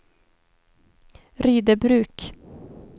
Rydöbruk